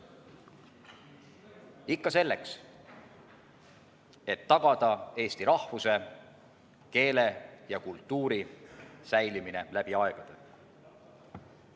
Ikka selleks, et tagada eesti rahvuse, keele ja kultuuri säilimine läbi aegade.